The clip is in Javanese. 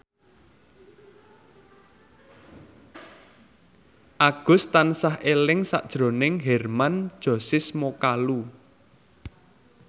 Agus tansah eling sakjroning Hermann Josis Mokalu